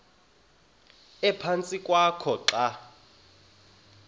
ephantsi kwakho xa